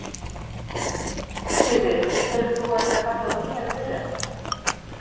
Sigríður: Telur þú að þetta kalli á nýjar viðræður?